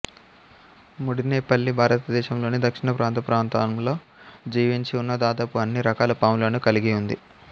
ముడినేపల్లి భారతదేశంలోని దక్షిణ ప్రాంత ప్రాంతంలో జీవించి ఉన్న దాదాపు అన్ని రకాల పాములను కలిగి ఉంది